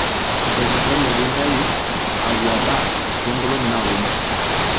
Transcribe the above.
iteretene piintayu akwa baa too nkolong'I naapuonu